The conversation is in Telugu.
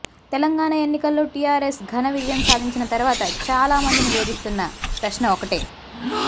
తెలంగాణ ఎన్నికల్లో టీఆర్ఎస్ ఘన విజయం సాధించిన తరువాత చాలామందిని వేధిస్తున్న ప్రశ్న ఒకటే